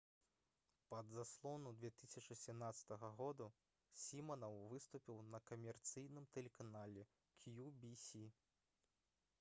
пад заслону 2017 г. сімінаў выступіў на камерцыйным тэлеканале «кью-ві-сі»